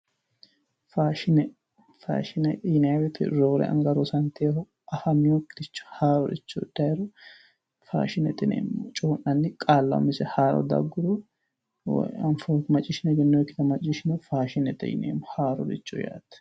Faashine yinayii woyiite roore anga rosantewoohu haaroricho hidhayiire faashinete yineemmo coyii'nanni qaalla umise haaro dagguro maciishshone egenninoyiikkire macciishshiniro haarorichooti yineemmo